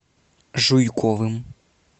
жуйковым